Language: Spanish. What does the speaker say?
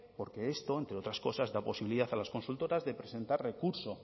porque esto entre otras cosas da posibilidad a las consultoras de presentar recurso